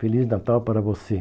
Feliz Natal para você.